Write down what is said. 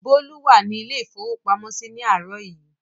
Bólú wà ní ilé-ìfowópamọ́sí ní àárọ̀ yìí.